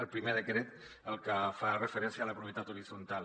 el primer decret el que fa referència a la propietat horitzontal